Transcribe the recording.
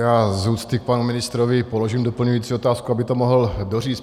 Já z úcty k panu ministrovi položím doplňující otázku, aby to mohl doříct.